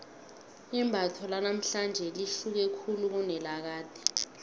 imbatho lanamhlanje lihluke khulu kunelakade